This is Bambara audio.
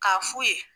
K'a f'u ye